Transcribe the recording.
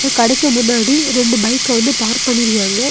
இந்த கடைக்கு முன்னாடி ரெண்டு பைக் வந்து பார்க் பண்ணிருக்காங்க.